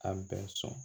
A bɛ sɔn